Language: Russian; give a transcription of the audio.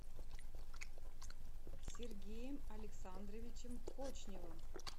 сергеем александровичем кочневым